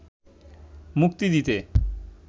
মুক্তি দিতে